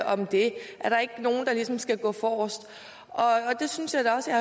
om det er der ikke nogen der ligesom skal gå forrest jeg synes da også at